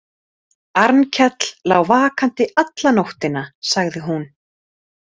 Arnkell lá vakandi alla nóttina, sagði hún.